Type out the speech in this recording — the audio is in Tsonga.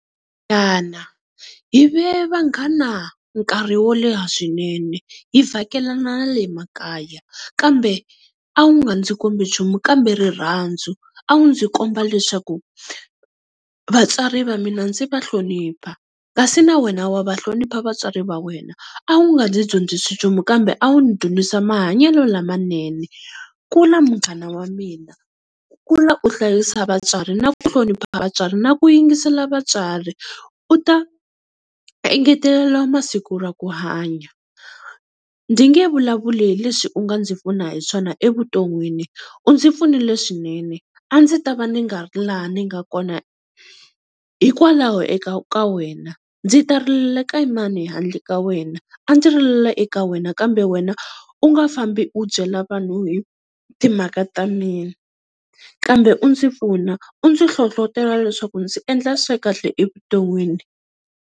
Munghana hi ve vanghana nkarhi wo leha swinene hi vhakelana na le makaya kambe a wu nga ndzi kombi nchumu kambe rirhandzu, a wu ndzi komba leswaku vatswari va mina ndzi va hlonipha kasi na wena wa va hlonipha vatswari va wena, a wu nga ndzi dyondzisi nchumu kambe a wu ndzi dyondzisa mahanyelo lamanene. Kula munghana wa mina kula u hlayisa vatswari na ku hlonipha vatswari na ku yingisela vatswari u ta engetelela masiku ya ku hanya. Ndzi nge vulavuli hi leswi u nga ndzi pfuna hi swona evuton'wini, u ndzi pfunile swinene a ndzi ta va ni nga ri laha ni nga kona hikwalaho eka ka wena. Ndzi ta rilela ka mani handle ka wena, a ndzi rilela eka wena kambe wena u nga fambi u byela vanhu hi timhaka ta mina, kambe u ndzi pfuna u ndzi hlohlotelo leswaku ndzi endla swa kahle evuton'wini.